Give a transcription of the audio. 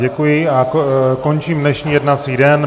Děkuji a končím dnešní jednací den.